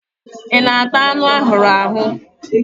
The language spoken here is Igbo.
I na-ata azụ arụrụ arụ?